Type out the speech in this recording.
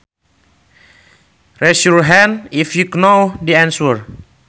Raise your hand if you know the answer